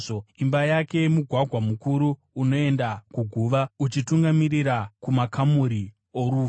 Imba yake mugwagwa mukuru unoenda kuguva, uchitungamirira kumakamuri orufu.